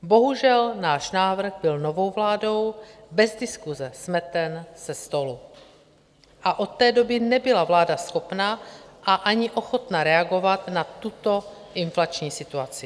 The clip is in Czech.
Bohužel, náš návrh byl novou vládou bez diskuse smeten ze stolu a od té doby nebyla vláda schopna a ani ochotna reagovat na tuto inflační situaci.